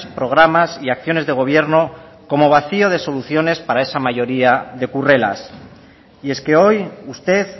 programas y acciones de gobierno como vacío de soluciones para esa mayoría de currelas y es que hoy usted